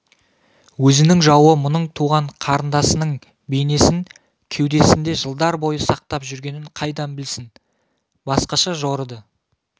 өзінің жауы мұның туған қарындасының бейнесін кеудесінде жылдар бойы сақтап жүргенін қайдан білсін басқаша жорыды